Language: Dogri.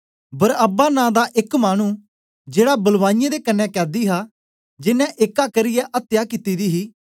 बरअब्बा नां दा एक मानु जेड़ा बलवाइयें दे कन्ने कैदी हा जेनें एक्का करियै अत्या कित्ती दी ही